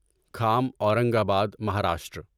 کھام Aurangabad Maharashtra